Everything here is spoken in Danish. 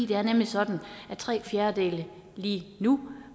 det er nemlig sådan at tre fjerdedele lige nu